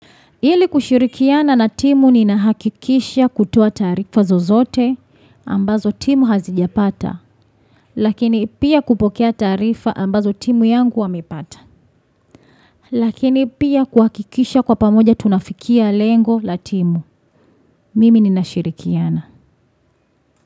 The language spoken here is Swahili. Ili kushirikiana na timu ninahakikisha kutoa taarifa zozote ambazo timu hazijapata. Lakini pia kupokea taarifa ambazo timu yangu wamepata. Lakini pia kuhakikisha kwa pamoja tunafikia lengo la timu. Mimi ninashirikiana.